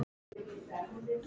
Kem eftir korter!